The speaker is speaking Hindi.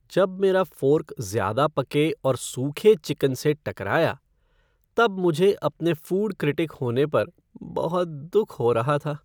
जब मेरा फ़ोर्क ज़्यादा पके और सूखे चिकन से टकराया तब मुझे अपने फ़ूड क्रिटिक होने पर बहुत दुख हो रहा था।